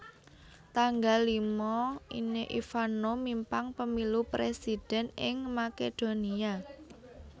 tanggal lima Ine Ivanov mimpang pemilu presiden ing Makedonia